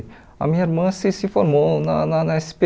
A minha irmã se se formou na na na esse pê